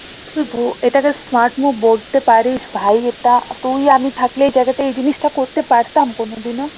তুই এটাকে smart move বলতে পারিস ভাই এটা তুই আমি থাকলে এই জায়গাতে এই জিনিসটা করতে পারতাম কোনো দিনও?